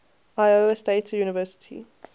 iowa state university